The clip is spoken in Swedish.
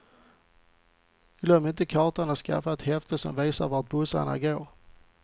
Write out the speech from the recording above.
Glöm inte kartan och skaffa ett häfte som visar vart bussarna går.